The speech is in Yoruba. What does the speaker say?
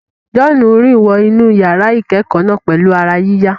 John rìn wọ inú yàrá ìkẹ́kọ̀ọ́ náà pẹ̀lú ara yíyá.